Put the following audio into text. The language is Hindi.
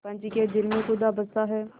पंच के दिल में खुदा बसता है